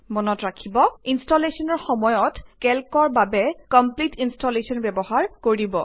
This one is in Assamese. মনত ৰাখিব ইনষ্টলেশ্বনৰ সময়ত কেল্কৰ বাবে কমপ্লিট ইনষ্টলেশ্বন ব্যৱহাৰ কৰিব